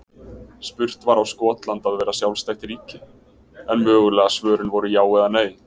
Spurt var á Skotland að vera sjálfstætt ríki? en mögulegu svörin voru já eða nei.